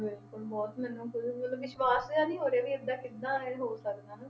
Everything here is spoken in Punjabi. ਬਿਲਕੁਲ ਬਹੁਤ ਮੈਨੂੰ ਖੁੱਦ ਮਤਲਬ ਵਿਸਵਾਸ਼ ਜਿਹਾ ਨੀ ਹੋ ਰਿਹਾ ਵੀ ਏਦਾਂ ਕਿੱਦਾਂ ਇਹ ਹੋ ਸਕਦਾ ਹਨਾ,